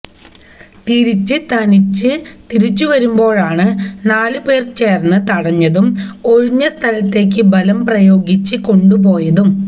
തിരിച്ച് തനിച്ച് തിരിച്ചുവരുമ്പോഴാണ് നാലു പേര് ചേര്ന്ന് തടഞ്ഞതും ഒഴിഞ്ഞ സ്ഥലത്തേക്ക് ബലം പ്രയോഗിച്ച് കൊണ്ടുപോയതും